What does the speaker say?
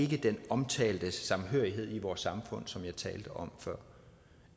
den omtalte samhørighed i vores samfund som jeg talte om før